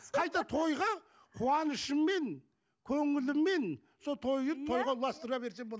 қайта тойға қуанышыммен көңіліммен сол тойды тойға ұластыра берсе болады